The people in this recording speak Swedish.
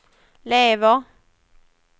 lever